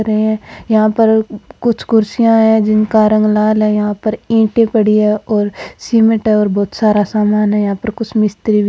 यहाँ पर कुछ कुर्सिया है जिनका रंग लाल है यहाँ पर ईंटे पड़ी है और सीमेंट है और बहुत सारा सामान है और यहाँ पर कुछ मिस्त्री भी हैं।